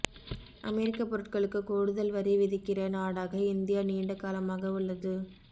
அமெரிக்க பொருட்களுக்கு கூடுதல் வரி விதிக்கிற நாடாக இந்தியா நீண்ட காலமாக உள்ளது